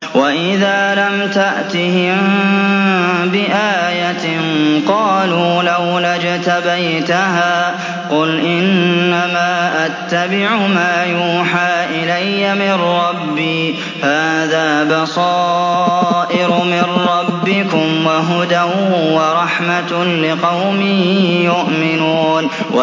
وَإِذَا لَمْ تَأْتِهِم بِآيَةٍ قَالُوا لَوْلَا اجْتَبَيْتَهَا ۚ قُلْ إِنَّمَا أَتَّبِعُ مَا يُوحَىٰ إِلَيَّ مِن رَّبِّي ۚ هَٰذَا بَصَائِرُ مِن رَّبِّكُمْ وَهُدًى وَرَحْمَةٌ لِّقَوْمٍ يُؤْمِنُونَ